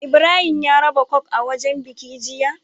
Ibrahim ya raba coke a wajan biki jiya